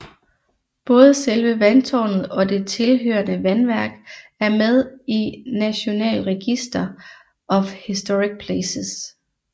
Både selve vandtårnet og det tilhørende vandværk er med i National Register of Historic Places